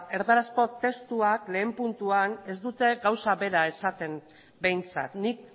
erdarazko testuak batgarrena puntuan ez dute gauza bera esaten behintzat nik